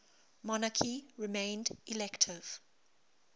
monarchy remained elective